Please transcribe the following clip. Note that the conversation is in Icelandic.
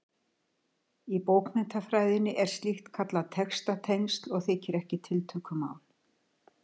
Í bókmenntafræðinni er slíkt kallað textatengsl og þykir ekki tiltökumál.